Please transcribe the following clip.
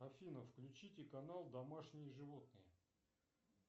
афина включите канал домашние животные